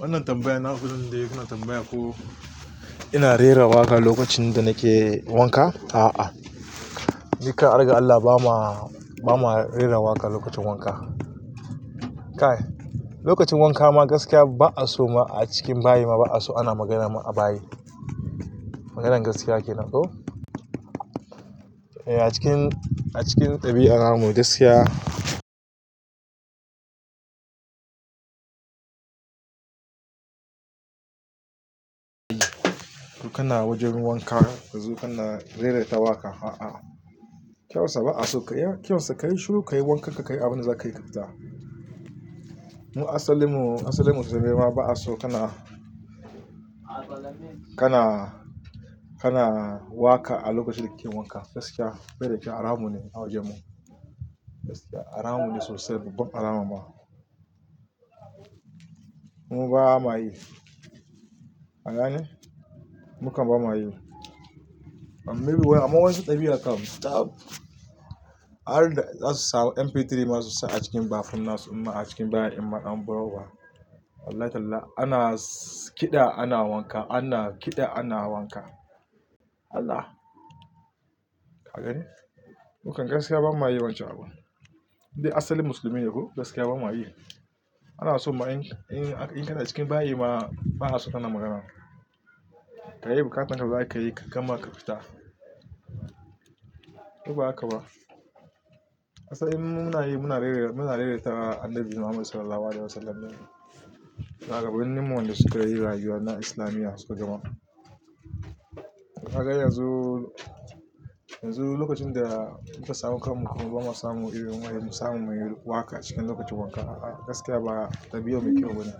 Wannan tambaya na fi jin daɗi. Ku na tambaya ko ina rera waƙa lokacin da nake wanka. A'a, jika, argar Allah, ba ma rera waƙa lokacin wanka. Lokacin wanka ma gaskiya ba'a so a cikin bayi ma ba'a so ana magana a bayi. Maganar gaskiya kenan ko. A cikin dabi'a, al'amurarsu gaskiya. Dukana wajen wanka yanzu kana rera waƙa. A'a. Kyauta, ba'a so kaya. Kyausa, ka yi shiru, ka yi wankarka, ka yi abin da za kayi kafita. Mu asilin mu asalin musulmai ma ba a son kana kana waƙa a lokacin da kake wanka. Gaskiya, bai da kyau. Haramun ne a wajen mu. Haramun ne sosai. Babban haramu ma. Kuma ba muwa yi, ka gane mu kam ba muwa yi amma wa yan su dabi'a kam ta, harda za su sa mp3 ma su sa a cikin bathroom nasu imma a cikin da imma da baro uba Wallahi tallah, ana kiɗa ana wanka, ana kiɗa ana wanka. Allah! Ka gani? Mu kam gaskiya ba muwa yi wancan abu. Kai asalin musulmin ne ko gaskiya ba muwa yi. Ba'a so in kana cikin bayi ma ba'a so kana magana. Ka yi bukatan da zaka yi, ka gama ka fita. Ko ba haka ba? Asalin mu muna yi muna rera ta Annabi Muhammad Sallallahu Alaihi Wasallam ne. Shuwagabanni mu wanda suka yi rayuwa na islamiya shugaban. Ka ga yanzu lokacin da muka samo kamun mu, ba ma samu yi waƙa cikin lokacin wanka. A'a, gaskiya ba dabi'a mai kyau bane.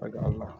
Harga Allah.